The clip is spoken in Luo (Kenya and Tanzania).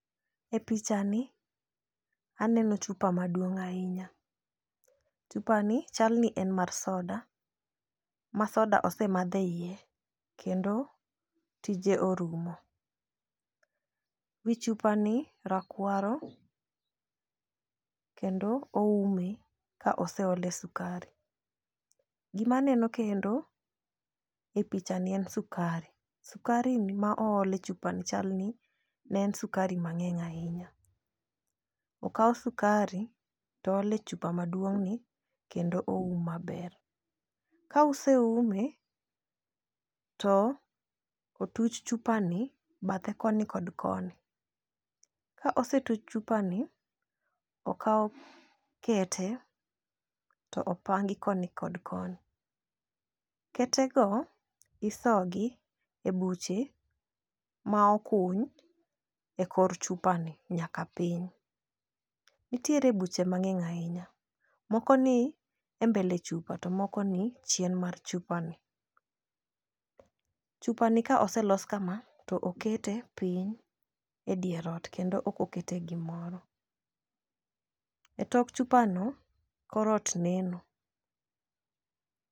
E pichani aneno chupa maduong' ahinya. Chupani chal ni en mar soda, ma soda osemadh eiye, kendo tije orumo. Wi chupa ni rakwaro, kendo oume ka oseole sukari. Gima aneno kendo e pichani en sukari. Sukarini ma ool e chupani, chalni ne en sukari mang'eny ahinya. Okaw sukari to ool e chupani maduong' ni kendo oume maber. Ka oseume to otuch chupani bathe koni kod koni. Ka osetuch chupani, to okaw kete to opangi koni kod koni. Kete go, isoyogi e buche ma okuny e kor chupani nyaka piny. Nitiere buche mang'eny ahina. Moko ni e mbele chupa to moko ni chien mar chupani. Chupani ka oselos kama, to okete piny e dier ot kendo ok okete e gimoro. E tok chupano kor ot neno.